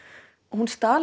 hún stal